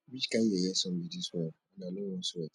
which kin yeye sun be dis one and i no wan sweat